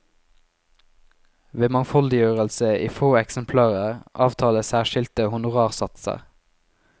Ved mangfoldiggjørelse i få eksemplarer avtales særskilte honorarsatser.